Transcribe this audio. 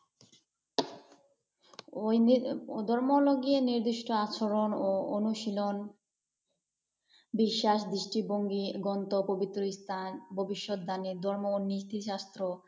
ধর্ম হল গিয়ে, নির্দিষ্ট আচরণ ও অনুশীলন, বিশ্বাস, দৃষ্টিভঙ্গি, গ্রন্থ, পবিত্র স্থান, ভবিষ্যৎ দানের ধর্ম ও নীতিশ্রাস্থ।